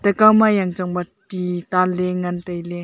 ekauma yangchangba ti tanley ngantailey.